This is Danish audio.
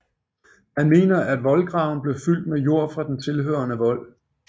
Man mener at voldgraven blev fyldt med jord fra den tilhørende vold